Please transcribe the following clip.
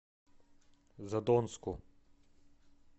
задонску